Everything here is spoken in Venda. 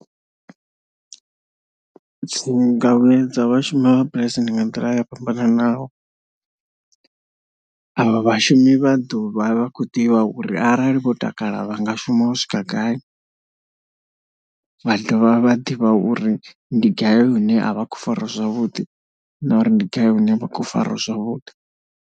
Dzi nga vhuedza vhashumi vha mabulasi ndi nga nḓila yo fhambananaho, avha vhashumi vha ḓo vha vha khou ḓivha uri arali vho takala vha nga shuma u swika gai, vha dovha vha ḓivha uri ndi gai hune a vha khou fariwa zwavhuḓi na uri ndi gai hune vha khou fariwa zwavhuḓi.